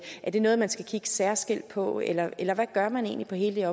er det noget man skal kigge særskilt på eller eller hvad gør man egentlig på hele